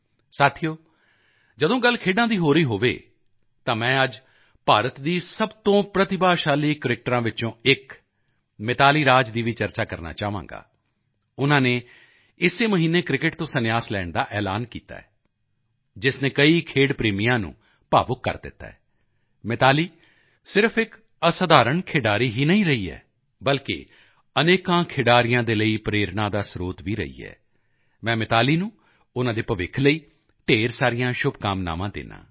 ਸਾਥੀਓ ਜਦੋਂ ਗੱਲ ਖੇਡਾਂ ਦੀ ਹੋ ਰਹੀ ਹੋਵੇ ਤਾਂ ਮੈਂ ਅੱਜ ਭਾਰਤ ਦੀ ਸਭ ਤੋਂ ਪ੍ਰਤਿਭਾਸ਼ਾਲੀ ਕ੍ਰਿਕੇਟਰਾਂ ਵਿੱਚੋਂ ਇੱਕ ਮਿਤਾਲੀ ਰਾਜ ਦੀ ਵੀ ਚਰਚਾ ਕਰਨਾ ਚਾਹਾਂਗਾ ਉਨ੍ਹਾਂ ਨੇ ਇਸੇ ਮਹੀਨੇ ਕ੍ਰਿਕੇਟ ਤੋਂ ਸੰਨਿਆਸ ਲੈਣ ਦਾ ਐਲਾਨ ਕੀਤਾ ਜਿਸ ਨੇ ਕਈ ਖੇਡ ਪ੍ਰੇਮੀਆਂ ਨੂੰ ਭਾਵੁਕ ਕਰ ਦਿੱਤਾ ਹੈ ਮਿਤਾਲੀ ਸਿਰਫ਼ ਇੱਕ ਅਸਾਧਾਰਣ ਖਿਡਾਰੀ ਹੀ ਨਹੀਂ ਰਹੀ ਹੈ ਬਲਕਿ ਅਨੇਕਾਂ ਖਿਡਾਰੀਆਂ ਦੇ ਲਈ ਪ੍ਰੇਰਣਾ ਦਾ ਸਰੋਤ ਵੀ ਰਹੀ ਹੈ ਮੈਂ ਮਿਤਾਲੀ ਨੂੰ ਉਨ੍ਹਾਂ ਦੇ ਭਵਿੱਖ ਲਈ ਢੇਰ ਸਾਰੀਆਂ ਸ਼ੁਭਕਾਮਨਾਵਾਂ ਦਿੰਦਾ ਹਾਂ